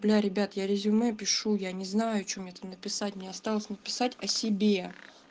бля ребят я резюме пишу я не знаю че мне там написать мне осталось написать о себе